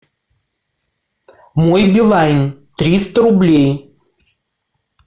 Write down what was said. мой билайн триста рублей